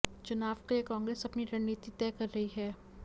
चुनाव के लिए कांग्रेस अपनी रणनीति तय कर रही है